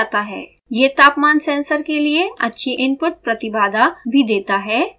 यह तापमान सेंसर के लिए अच्छी इनपुट प्रतिबाधा भी देता है